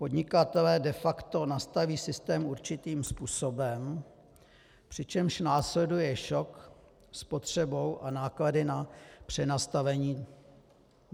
Podnikatelé de facto nastaví systém určitým způsobem, přičemž následuje šok s potřebou a náklady na přenastavení."